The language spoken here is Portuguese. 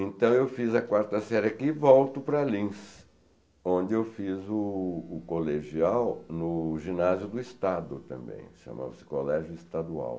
Então eu fiz a quarta série aqui e volto para Lins, onde eu fiz o o colegial no Ginásio do Estado também, chamava-se Colégio Estadual.